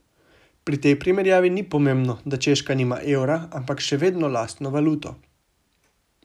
Pri tej primerjavi ni nepomembno, da Češka nima evra, ampak še vedno lastno valuto.